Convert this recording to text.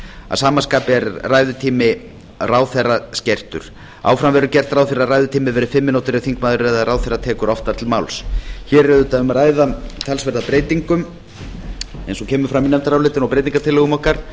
að sama skapi er ræðutími ráðherra skertur áfram verður gert ráð fyrir því að ræðutími verði fimm mínútur ef þingmaður eða ráðherra tekur oftar til máls hér er auðvitað um að ræða talsverða breytingu eins og kemur fram í nefndarálitinu og breytingartillögum okkar